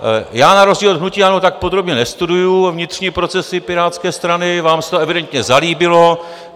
Já na rozdíl od hnutí ANO tak podrobně nestuduji vnitřní procesy Pirátské strany, vám se to evidentně zalíbilo.